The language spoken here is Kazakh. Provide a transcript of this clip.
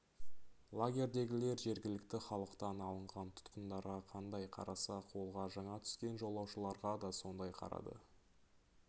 лагердегілер жергілікті халықтан алынған тұтқындарға қандай қараса қолға жаңа түскен жолаушыларға да сондай қарады